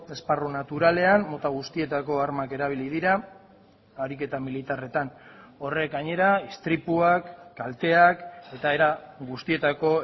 esparru naturalean mota guztietako armak erabili dira ariketa militarretan horrek gainera istripuak kalteak eta era guztietako